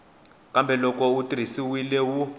kambe loko wu tirhisiwile wu